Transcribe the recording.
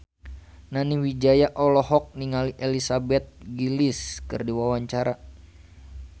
Nani Wijaya olohok ningali Elizabeth Gillies keur diwawancara